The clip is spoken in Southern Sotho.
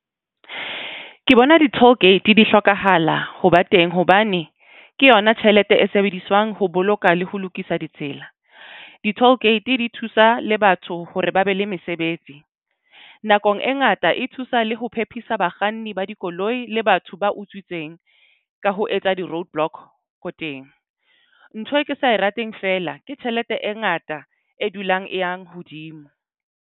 Ke bona di-toll gate di hlokahala ho ba teng hobane ke yona tjhelete e sebediswang ho boloka le ho lokisa ditsela. Di-toll gate di thusa le batho hore ba be le mesebetsi. Nakong e ngata, e thusa le ho phephisa bakganni ba dikoloi le batho ba utswitseng, ka ho etsa di-roadblock ko teng. Ntho e ke sa e rateng feela. Ke tjhelete e ngata e dulang e yang hodimo.